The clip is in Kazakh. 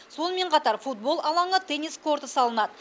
сонымен қатар футбол алаңы теннис корты салынады